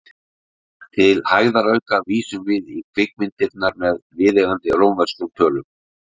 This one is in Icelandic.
Til hægðarauka vísum við í kvikmyndirnar með viðeigandi rómverskum tölum.